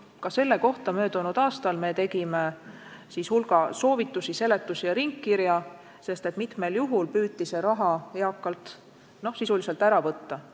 Ka selle kohta me tegime möödunud aastal hulga soovitusi, seletusi ja ringkirja, sest mitmel juhul püüti see raha eakalt inimeselt sisuliselt ära võtta.